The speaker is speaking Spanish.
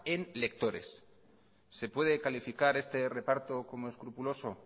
en lectores se puede calificar este reparto como escrupuloso